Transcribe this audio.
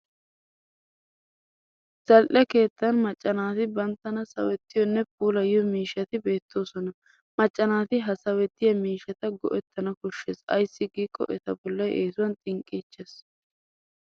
Zal'e keettan macca naati banttana sawettiyonne puulayiyo miishshati beettoosona. Macca naati ha sawettiya miishshata go'ettana koshshes ayssi giikko eta bollay eesuwan xinqqiichches.